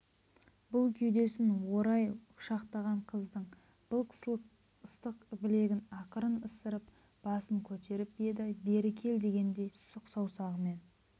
бұл кеудесін орай құшақтаған қыздың былқ-сылқ ыстық білегін ақырын ысырып басын көтеріп еді бері кел дегендей сұқ саусағымен